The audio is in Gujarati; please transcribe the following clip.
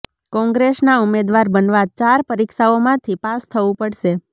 કોંગ્રેસના ઉમેદવાર બનવા ચાર પરીક્ષાઓમાંથી પાસ થવું પડશે